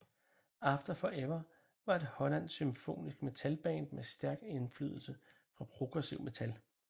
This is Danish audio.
After Forever var et hollandsk symfonisk metal band med stærk indflydelse fra progressiv metal